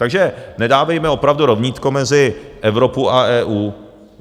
Takže nedávejme opravdu rovnítko mezi Evropu a EU.